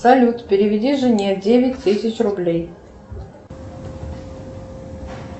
салют переведи жене девять тысяч рублей